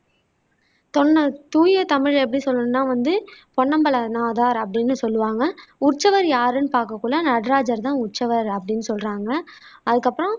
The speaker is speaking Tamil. தொன்ன தூய தமிழில எப்படி சொல்லணும்னா வந்து பொன்னம்பலநாதா் அப்படின்னு சொல்லுவாங்க உற்சவர் யாருன்னு பாக்கக்குள்ள நடராஜர் தான் உற்சவர் அப்படின்னு சொல்றாங்க அதுக்கப்பறம்